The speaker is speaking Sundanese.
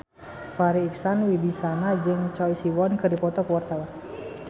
Farri Icksan Wibisana jeung Choi Siwon keur dipoto ku wartawan